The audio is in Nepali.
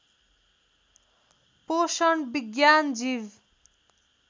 पोषण विज्ञान जीव